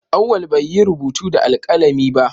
Auwal bai yi rubutu da alkalami ba